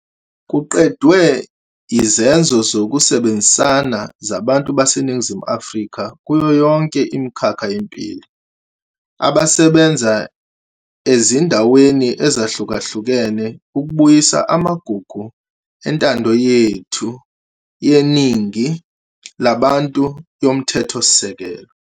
Kuqedwe yizenzo zokusebenzisana zabantu baseNingizimu Afrika kuyo yonke imikhakha yempilo, abasebenza ezindaweni ezahlukahlukene ukubuyisa amagugu entando yethu yeningi labantu yomthethosisekelo.